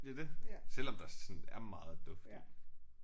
Det er det. Selvom der sådan er meget duft i